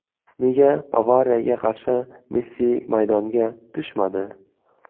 Nega Bavariyaga qarshi Messi maydonga tushmadi?